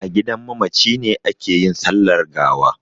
A gidan mamaci ne ake yin sallar gawa.